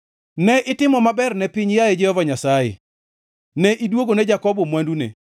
Ne itimo maber ne piny, yaye Jehova Nyasaye; ne iduogone Jakobo mwandune.